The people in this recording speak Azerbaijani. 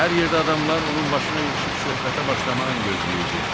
Hər yerdə adamlar onun başına yığışıb söhbətə başlamağın gözləyirdi.